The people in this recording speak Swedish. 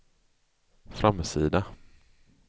framsida